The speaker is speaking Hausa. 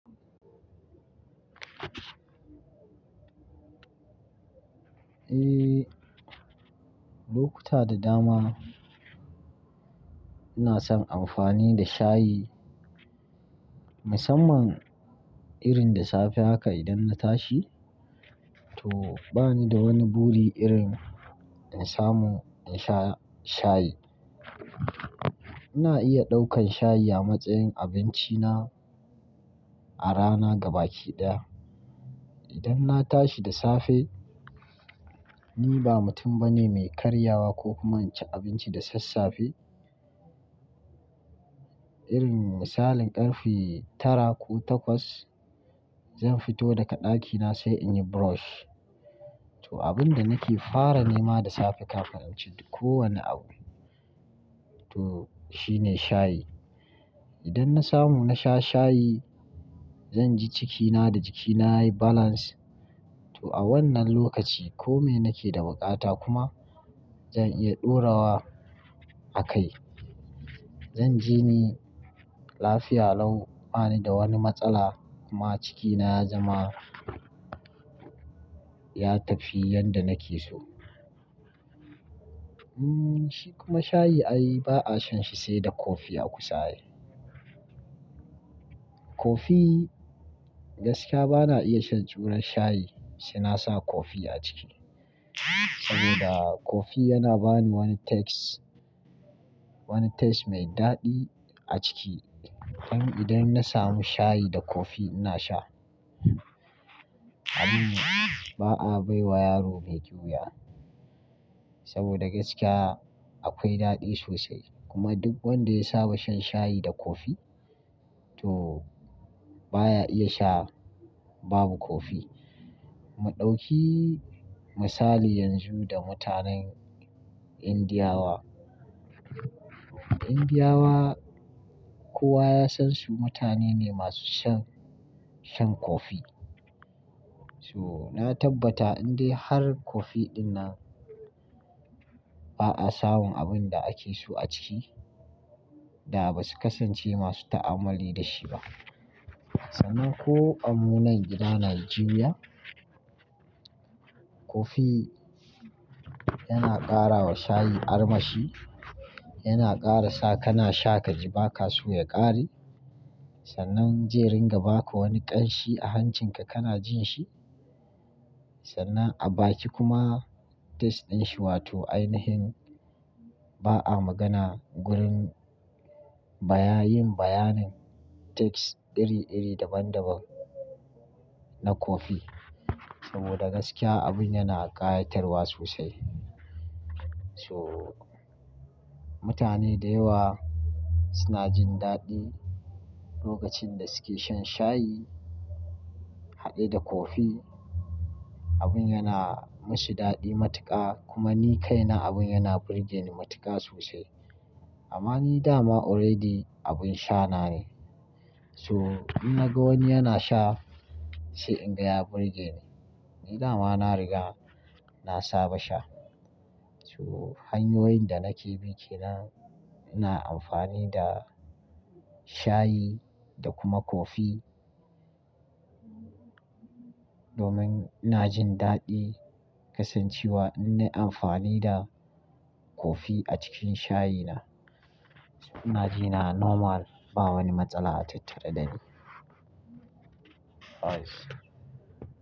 Eh, lokuta da dama ina son amfani da shayi musamman irin da safe haka idan na tashi to bani da wani buri irin in samu in sha shayi. Ina iya ɗaukan shayi a matsayin abinci na a rana gaba ki ɗaya. Idan na tashi da safe ni ba mutum bane mai karyawa ko kuma inci abinci da sassafe irin misalin ƙarfe tara ko takwas zan fito daga ɗakina sai in yi brush to abin da nake fara nema da safe kafin in ci ko wane abu to shine shayi. Idan na samu na sha shayi zan ji cikina da jikina yayi balance to a wannan lokaci kome nake da buƙata kuma zan iya ɗora wa a kai. Zan ji ni lafiya lau bani da wani matsala kuma cikina ya zama ya tafi yadda nake so. Hmm shi kuma shayi ai ba'a shan shi sai da kofi a kusa yake. Kofi gaskiya bana iya shan juran shayi sai nasa kofi a ciki saboda kofi yana bani wani taste, wani taste mai daɗi a ciki. Don idan na samu shayi da kofi ina sha. Abin ba'a bai wa yaro mai ƙiwuya saboda gaskiya akwai daɗi sosai kuma duk wanda ya saba shan shayi da kofi to baya iya sha babu kofi. Mu ɗauki misali yanzu da mutanen Indiya wa. Indiya wa kowa ya san su mutane ne masu shan, shan kofi. So na tabbata in dai har kofi dinnan ba'a samun abin da ake so a ciki da basu kasance masu ta'amalli da shi ba. Sannan ko a munan gida Nijeriya kofi yana ƙara wa shayi armashi, yana ƙara sa kana sha ka ji baka so ya ƙare sannan zai ringa ba ka wani ƙanshi a hancinka kana jin shi sannan a baki kuma taste din shi wato ainihin ba'a magana gurin baya yin bayanin taste iri iri daban daban na kofi saboda gaskiya abin yana ƙayatarwa sosai. So mutane da yawa suna jin daɗi lokacin da suke shan shayi haɗe da kofi abin yana masu daɗi matuƙa kuma ni kai na abin yana burgeni matuƙa sosai. Amma ni da ma already abin sha na ne so in naga wani yana sha sai in gaya burgeni. Ni da ma na riga na saba sha so hanyoyin da nake biki na ina amfani da shayi da kuma kofi domin ina jin daɗi kasancewa in nayi amfani da kofi a cikin shayina so ina ji na normal ba wani matsala a tattare da ni. Nice.